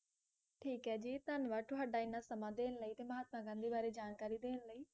ਠੀਕ ਏ ਜੀ, ਧੰਨਵਾਦ ਤੁਹਾਡਾ ਇੰਨਾ ਸਮਾਂ ਦੇਣ ਲਈ ਤੇ ਮਹਾਤਮਾ ਗਾਂਧੀ ਬਾਰੇ ਜਾਣਕਾਰੀ ਦੇਣ ਲਈ l